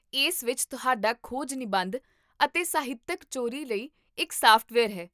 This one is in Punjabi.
ਇਸ ਵਿੱਚ ਤੁਹਾਡਾ ਖੋਜ ਨਿਬੰਧ ਅਤੇ ਸਾਹਿਤਕ ਚੋਰੀ ਲਈ ਇੱਕ ਸਾਫਟਵੇਅਰ ਹੈ